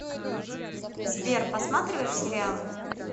сбер посматриваешь сериалы